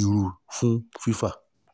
iru fun fifa?